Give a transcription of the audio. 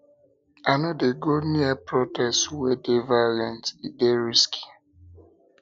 i no dey go near protest wey dey violent e dey risky